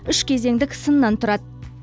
үш кезеңдік сыннан тұрады